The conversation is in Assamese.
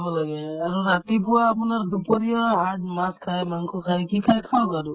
লাগে আৰু ৰাতিপুৱা আপোনাৰ দুপৰীয়া আহাৰত মাছ খাই মাংস খাই কি খাই খাওক আৰু